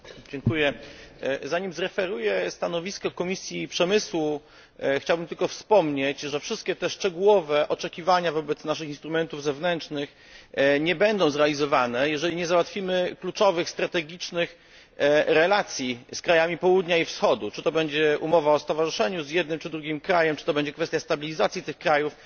Pani Przewodnicząca! Zanim zreferuję stanowisko Komisji Przemysłu, chciałbym tylko wspomnieć, że wszystkie te szczegółowe oczekiwania wobec naszych instrumentów zewnętrznych nie będą zrealizowane, jeżeli nie załatwimy kluczowych strategicznych relacji z krajami Południa i Wschodu, czy to będzie umowa o stowarzyszeniu z jednym czy drugim krajem, czy to będzie kwestia stabilizacji tych krajów.,